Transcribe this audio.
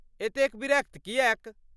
एतेक विरक्त किएक?